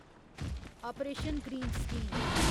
operation greens scheme